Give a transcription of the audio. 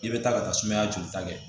I bɛ taa ka taa sumaya jolita kɛ